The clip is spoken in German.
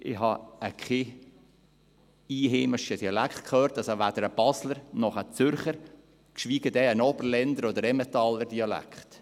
Ich habe keinen einheimischen Dialekt gehört, also weder einen Basler noch einen Zürcher, geschweige denn einen Oberländer oder Emmentaler Dialekt.